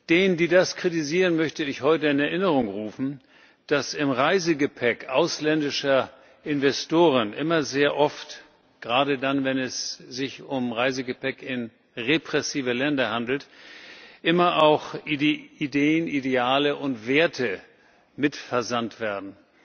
Denen, die das kritisieren, möchte ich heute in Erinnerung rufen, dass mit dem Reisegepäck ausländischer Investoren immer sehr oft gerade dann, wenn es sich um Reisegepäck in repressive Länder handelt auch Ideen, Ideale und Werte mit versandt werden.